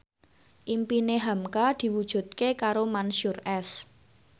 impine hamka diwujudke karo Mansyur S